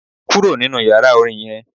Kúrò nínú yàrá Orin yen